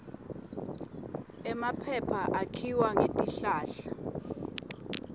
emaphepha akhiwa ngetihlahla